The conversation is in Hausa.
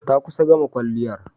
Ta kusa gama kwalliyar.